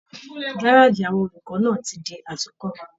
Gárájí náà àwọn olùkọ ti di àtúnkọ́.